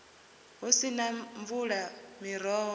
hu si na mvula miroho